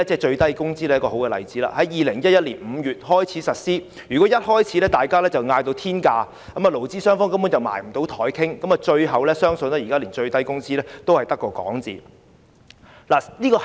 最低工資在2011年5月開始實施，如果大家於開始時便開出天價，勞資雙方根本無法坐下商討，相信最終現在連最低工資也只是未能成事。